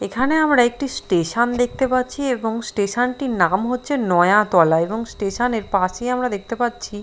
এখানে আমরা একটি স্টেশন দেখতে পাচ্ছি এবং স্টেশনটির নাম হচ্ছে নয়াতলা এবং স্টেশনের পাশেই আমরা দেখতে পাচ্ছি --